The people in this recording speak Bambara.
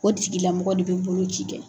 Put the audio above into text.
O tigi lamɔgɔ de bɛ boloci kɛ.